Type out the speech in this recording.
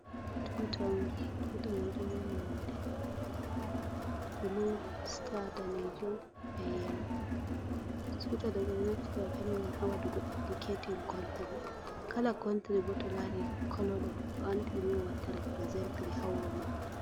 Tuta on, tuta me ɗo mari nonde blu sta daneju be yelo tuta ɗo ɓeɗo naftira be mai on ha waɗugo indiketin contry, kala contri bo to lari kolo ɗo ɗo andi ɗi e on watta riprezentri ha wuro maɓɓe.